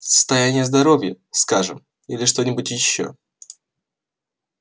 состояние здоровья скажем или что-нибудь ещё